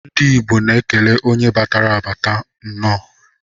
Ndi igbo na ekele onye batara abats nnọ.